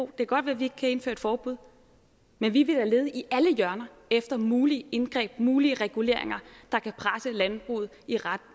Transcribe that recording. kan godt være vi ikke kan indføre et forbud men vi er ved at lede i alle hjørner efter mulige indgreb mulige reguleringer der kan presse landbruget